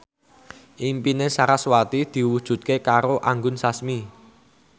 impine sarasvati diwujudke karo Anggun Sasmi